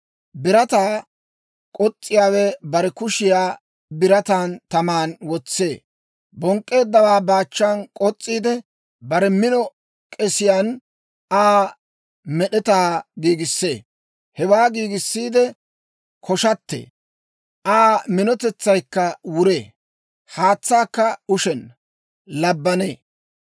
Birataa k'os's'iyaawe bare bukkiyaa birataa taman wotsee; bonk'k'eeddawaa baachan k'os's'iide, bare mino k'esiyaan Aa med'etaa giigissee. Hewaa giigissiide koshatee; Aa minotetsaykka wuree. Haatsaakka ushenna; labbanee.